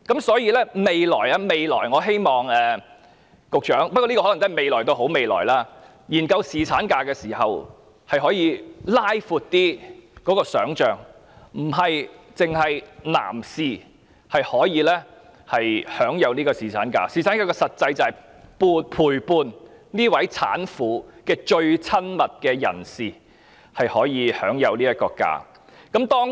所以，我希望局長在未來——不過這個未來可能要等好一陣子——研究侍產假時，可以拉闊想象，其實並非只有男士可以享有侍產假，而侍產假的實際重點，是要讓陪伴產婦的最親密人士享有假期。